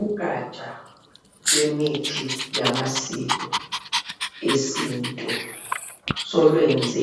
Ugatsha lwemithi yamasiko esintu solwenze